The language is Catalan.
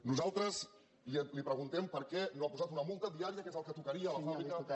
nosaltres li preguntem per què no ha posat una multa diària que és el que tocaria a la fàbrica